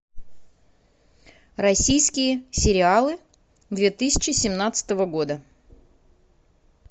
российские сериалы две тысячи семнадцатого года